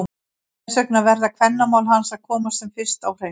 Þess vegna verða kvennamál hans að komast sem fyrst á hreint!